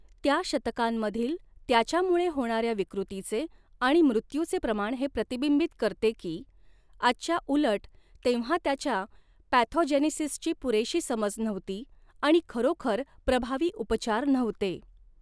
त्या शतकांमधील त्याच्यामुळे होणाऱ्या विकृतीचे आणि मृत्यूचे प्रमाण हे प्रतिबिंबित करते की, आजच्या उलट तेव्हा त्याच्या पॅथोजेनेसिसची पुरेशी समज नव्हती आणि खरोखर प्रभावी उपचार नव्हते.